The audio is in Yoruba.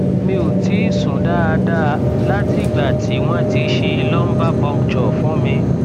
mi ò tíì sùn dáadáa látìgbà tí wọn ti ṣe lumbar puncture fún mi